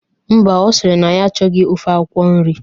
Mba, ọ sịrị na ya achọghọ ofe akwụkwọ nri